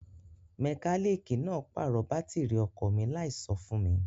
Mẹkálíìkì náà pàrọ̀ bátìrì ọkọ̀ mi láìso fún mi.